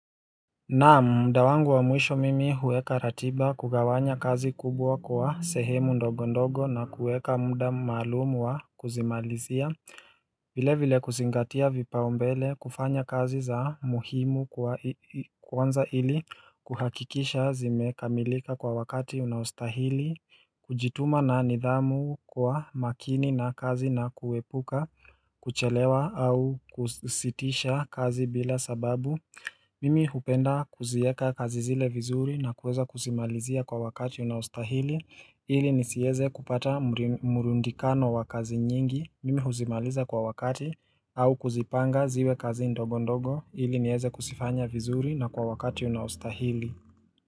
Naam, mda wangu wa mwisho mimi huweka ratiba kugawanya kazi kubwa kwa sehemu ndogondogo na kuweka mda maalumu wa kuzimalizia vile vile kuzingatia vipaombele kufanya kazi za muhimu kwanza ili kuhakikisha zimekamilika kwa wakati unaustahili kujituma na nidhamu kwa makini na kazi na kuepuka kuchelewa au kusitisha kazi bila sababu Mimi hupenda kuzieka kazi zile vizuri na kuweza kuzimalizia kwa wakati unaostahili ili nisieze kupata murundikano wa kazi nyingi mimi huzimaliza kwa wakati au kuzipanga ziwe kazi ndogo ndogo ili nieze kusifanya vizuri na kwa wakati unaostahili.